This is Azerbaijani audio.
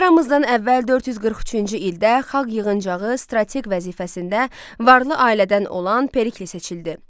Eramızdan əvvəl 443-cü ildə xalq yığıncağı strateq vəzifəsində varlı ailədən olan Perikli seçildi.